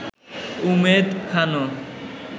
Umed খানও